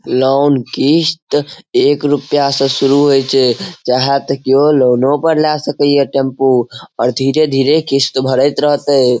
Loan किस्त एक रूपया से शुरू होय छै चाहे ते कियो लोनो पे लए सकय ये टेम्पू और धीरे-धीरे किस्त भरएत रहते।